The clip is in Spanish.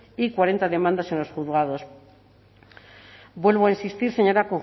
y cuarenta demandas en los juzgados vuelvo a insistir señora